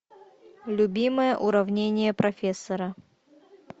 любимое уравнение профессора